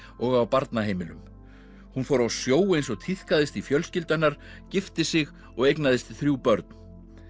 og á barnaheimilum hún fór á sjó eins og tíðkaðist í fjölskyldu hennar gifti sig og eignaðist þrjú börn